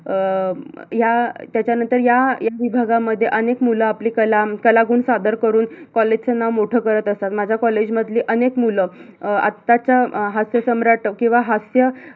अं या त्याच्यानंतर या या विभागामध्ये अनेक मुलं आपली कला कलागुण सादर करून college च नाव मोठ करत असतात, माझ्य college मधली अनेक मुलं अं आत्ताच्या अं हास्यसम्राट किवा हास्य